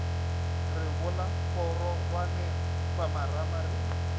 re bola kgororwane khupamarama re